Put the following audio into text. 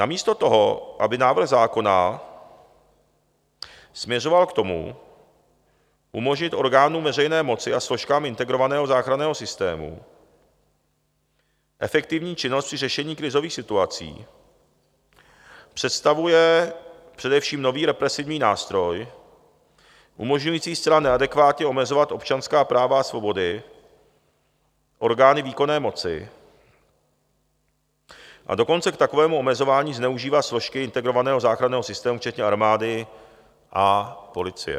Namísto toho, aby návrh zákona směřoval k tomu, umožnit orgánům veřejné moci a složkám integrovaného záchranného systému efektivní činnost při řešení krizových situací, představuje především nový represivní nástroj, umožňující zcela neadekvátně omezovat občanská práva a svobody orgány výkonné moci, a dokonce k takovému omezování zneužívá složky integrovaného záchranného systému včetně armády a policie.